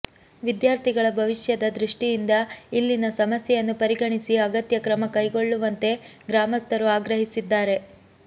ವಿದ್ಯಾರ್ಥಿಗಳ ಭವಿಷ್ಯದ ದೃಷ್ಟಿಯಿಂದ ಇಲ್ಲಿನ ಸಮಸ್ಯೆಯನ್ನು ಪರಿಗಣಿಸಿ ಅಗತ್ಯ ಕ್ರಮ ಕೈಗೊಳ್ಳುವಂತೆ ಗ್ರಾಮಸ್ಥರು ಆಗ್ರಹಿಸಿದ್ದಾರೆ